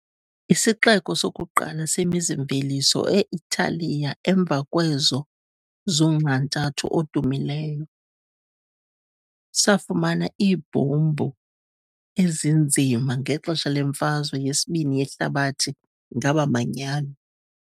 Isixeko sokuqala semizi-mveliso e-Italiya emva kwezo zoNxantathu odumileyo, safumana iibhombu ezinzima ngexesha leMfazwe yeSibini yeHlabathi ngabaManyano .